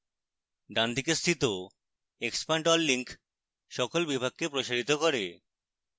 ডানদিকে স্থিত expand all link সকল বিভাগকে প্রসারিত করে